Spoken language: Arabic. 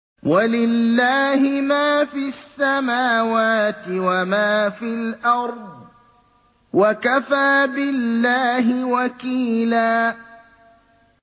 وَلِلَّهِ مَا فِي السَّمَاوَاتِ وَمَا فِي الْأَرْضِ ۚ وَكَفَىٰ بِاللَّهِ وَكِيلًا